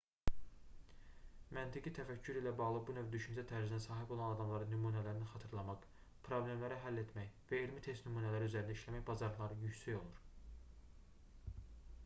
məntiqi təfəkkür ilə bağlı bu növ düşüncə tərzinə sahib olan adamların nümunələri xatırlamaq problemləri həll etmək və elmi test nümunələri üzərində işləmək bacarıqları yüksək olur